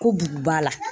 Ko bugu b'a la